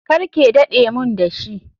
Karke dade mun dashi.